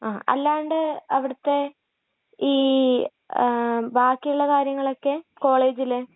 ങ.അല്ലാണ്ട് അവിടത്തെ ...ഈ..ബാക്കിയുള്ള കാര്യങ്ങളൊക്കെ? കോളേജിലെ??